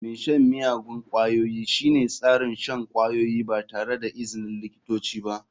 Mai shan miyagun ƙwayoyi shine tsarin shan kwayoyi ba tare da izinin likitoci ba.